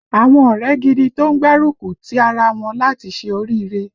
Àwọn ọ̀rẹ́ gidi tó ń gbárúkùtì ara wọn láti ṣe oríire